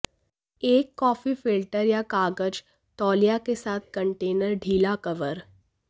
एक coffee filter या कागज तौलिया के साथ कंटेनर ढीला कवर